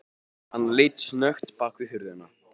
Hann leit snöggt bak við hurðina.